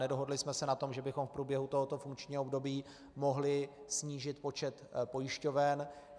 Nedohodli jsme se na tom, že bychom v průběhu tohoto funkčního období mohli snížit počet pojišťoven.